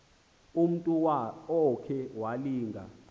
umntu okhe walinga